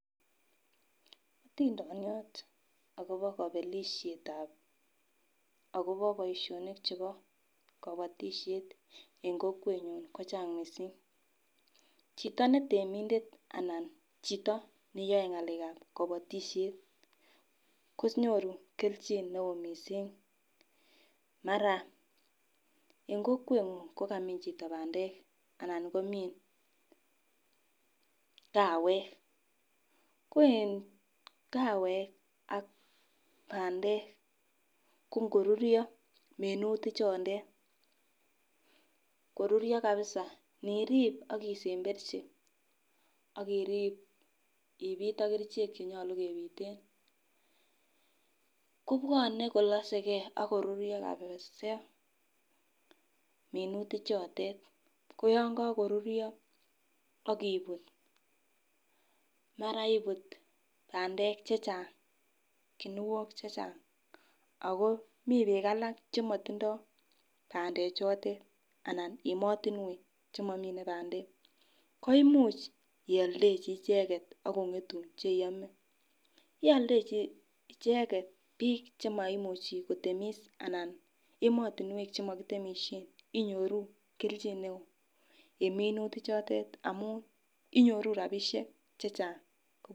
Otindoniot akobo kobelishetab akobo boishonik chebo kobotishet en kokwenyun kochang missing, chito netemindet ana chito neyoe ngalekab kobotishet konyoru keljin neo missing mara en kokwenguny kokamin chito pandek anan komin kawek ko en kawek ak pandek ko ngoruryo minutik chondet kororyo kabisa nirib ak isemberchi ak nipit ipit ak kerichek chenyolu keboishen ko bwone kolosegee ak koruryo kabisa minutik choton ko yon kokoruryo minutik chotet ak ibut mara ibut pandek chechang ako mii bik alak chemotindo pandek chotet anan emotunwek chemomine pandek ko imuch ioldechi icheket ak kongetu che iome. Yeoldechi icheket bik chemoimuchi kotemis anan emotunwek chemokitemishen inyoruu keljin neo en minutik chondet amun inyoru rabishek chechang.